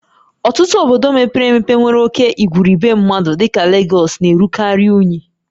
Ọtụtụ obodo mepere emepe nwere oke igwurube mmadụ dịka Legọs na-erukarị unyi